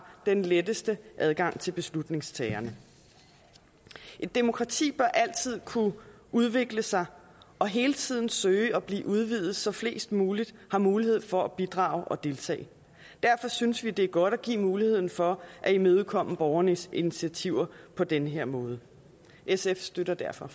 den letteste adgang til beslutningstagerne et demokrati bør altid kunne udvikle sig og hele tiden søge at blive udvidet så flest mulige har mulighed for at bidrage og deltage derfor synes vi det er godt at give mulighed for at imødekomme borgernes initiativer på den her måde sf støtter derfor